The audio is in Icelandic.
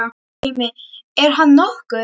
Dæmi: Er hann nokkuð?